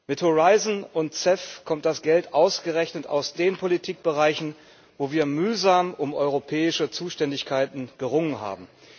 Mit Horizon und CEF kommt das Geld ausgerechnet aus den Politikbereichen, wo wir mühsam um europäische Zuständigkeiten gerungen haben.